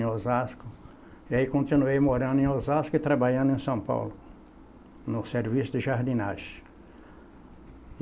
em Osasco, e aí continuei morando em Osasco e trabalhando em São Paulo, no serviço de jardinagem.